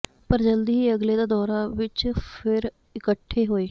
ਪਰ ਜਲਦੀ ਹੀ ਅਗਲੇ ਦਾ ਦੌਰਾ ਵਿੱਚ ਫਿਰ ਇਕੱਠੇ ਹੋਏ